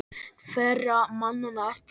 Hverra manna ert þú?